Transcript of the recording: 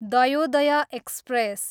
Dayodaya express